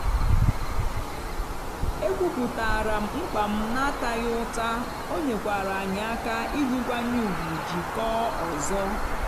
ekwupụtaara m mkpa m n'ataghị ụta ọ nyekwara anyị aka iji nkwanye ùgwù jikọọ ọzọ.